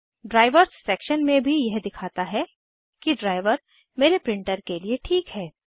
drivers section में भी यह दिखाता है कि ड्राइवर मेरे प्रिंटर के लिए ठीक है